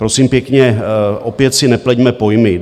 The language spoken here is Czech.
Prosím pěkně, opět si nepleťme pojmy.